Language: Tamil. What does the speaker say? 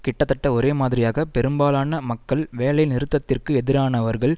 கிட்டத்தட்ட ஒரே மாதிரியாக பெரும்பாலான மக்கள் வேலைநிறுத்தத்திற்கு எதிரானவர்கள்